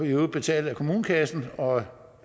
i øvrigt betalt af kommunekassen og